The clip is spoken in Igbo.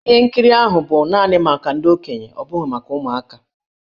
Ihe nkiri ahụ bụ naanị maka ndị okenye ọ bụghị maka ụmụaka.